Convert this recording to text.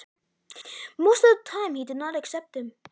Oftast sætti ég mig ekki við hann.